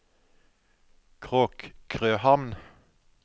Kråkrøhamn